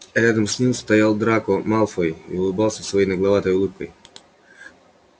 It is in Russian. рядом с ним стоял драко малфой и улыбался своей нагловатой улыбкой